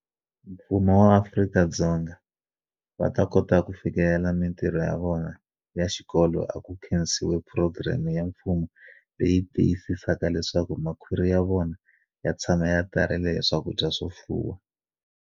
Mfumo swa Afrika-Dzonga va kota ku fikelela mitirho ya vona ya xikolo a ku khensiwe phurogireme ya mfumo leyi tiyisisaka leswaku makhwiri ya vona ya tshama ya tarile hi swakudya swo fuwa.